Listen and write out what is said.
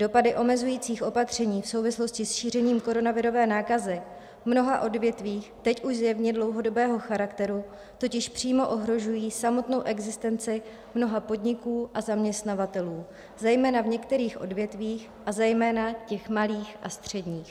Dopady omezujících opatření v souvislosti s šířením koronavirové nákazy v mnoha odvětvích, teď už zjevně dlouhodobého charakteru, totiž přímo ohrožují samotnou existenci mnoha podniků a zaměstnavatelů, zejména v některých odvětvích a zejména těch malých a středních.